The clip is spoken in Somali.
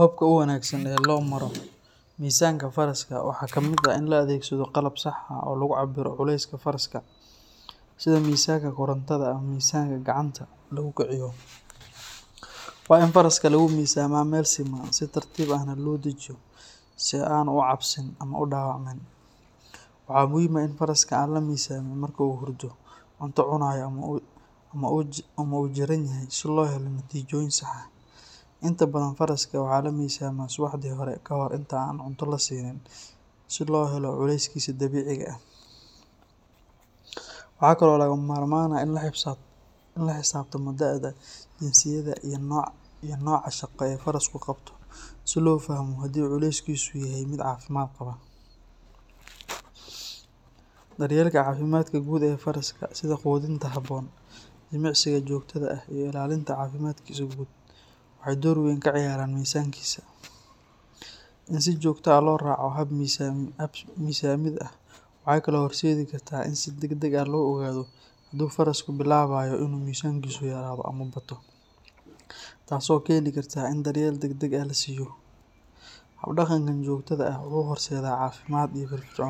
Hobka u wanagsan ee lomaro faraska waxaa kamiid ah in la adhegsadho qalab sax ah oo lagu cabiro faraska, sitha misanka korantaada ama misanka gacanta lagu kaciyo, waxaa faraska lagu misama si an ucabsanin ama u udawac manin, faraska marku hurdo ama cunta cunayo ama u jaranyoho si lohelo natijoyin sax ah inta badan faraska waxaa lamisama suwaxdi hore inta lasinin cunta, daryeelka cafimaad ee gud ee faraska, taso keni kartaa in lasiyo hab daqan ee cafimaad